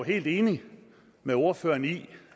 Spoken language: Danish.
helt enig med ordføreren i